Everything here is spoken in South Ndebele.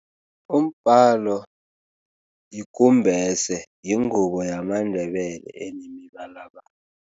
Umbhalo ikumbese, yingubo yamaNdebele enemibalabala.